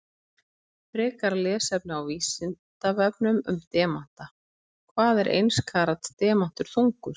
Frekara lesefni á Vísindavefnum um demanta: Hvað er eins karats demantur þungur?